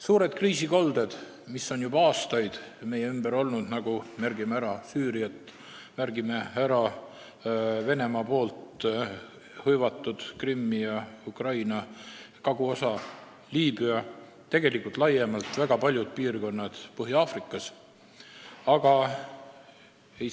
Suured kriisikolded on juba aastaid meie ümber olnud: märgime ära Süüria, Venemaa hõivatud Krimmi ja Ukraina kaguosa, Liibüa ja väga paljud piirkonnad Põhja-Aafrikas laiemalt.